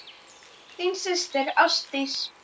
Þín systir Ásdís.